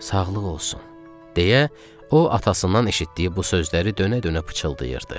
Sağlıq olsun, deyə o atasından eşitdiyi bu sözləri dönə-dönə pıçıldayırdı.